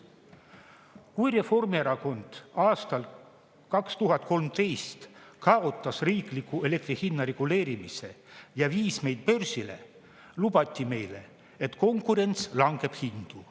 Kui Reformierakond kaotas aastal 2013 riikliku elektri hinna reguleerimise ja viis meid börsile, lubati meile, et konkurents langetab hindu.